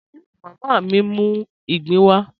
Abúró mámá mí n mú igbin wà.